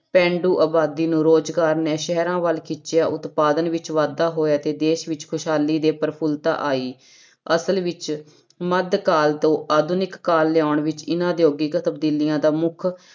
ਪੇਂਡੂ ਆਬਾਦੀ ਨੂੰ ਰੋਜ਼ਗਾਰ ਨੇ ਸ਼ਹਿਰਾਂ ਵੱਲ ਖਿੱਚਿਆ ਉਤਪਾਦਨ ਵਿੱਚ ਵਾਧਾ ਹੋਇਆ ਤੇ ਦੇਸ ਵਿੱਚ ਖ਼ੁਸ਼ਹਾਲੀ ਤੇ ਪ੍ਰਫੁਲਤਾ ਆਈ, ਅਸਲ ਵਿੱਚ ਮੱਧਕਾਲ ਤੋਂ ਆਧੁਨਿਕ ਕਾਲ ਲਿਆਉਣ ਵਿੱਚ ਇਹਨਾਂ ਉਦਯੋਗਿਕ ਤਬਦੀਲੀਆਂ ਦਾ ਮੁੱਖ